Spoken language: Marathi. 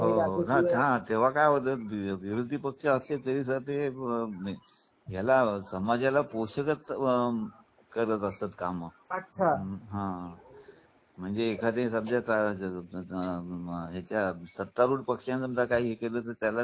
हो हो तेंव्हा काय होत विरोधी पक्षाच असतील तरीही समाजाला पोषक करत असत काम अच्छा म्हणजे एखाद त्या यांच्यात पक्ष सत्ता रूढ पक्षाने समजा काही हे केलं तर